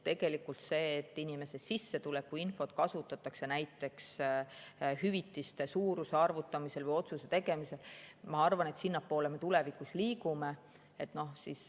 Selles suunas, et inimeste sissetulekuinfot kasutatakse näiteks hüvitiste suuruse arvutamisel või otsuse tegemisel, ma arvan, me tulevikus liigume.